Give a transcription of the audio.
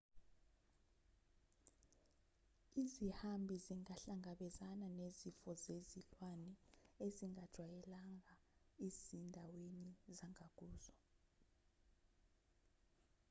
izihambi zingahlangabezana nezifo zezilwane ezingazijwaleyanga ezindaweni zangakuzo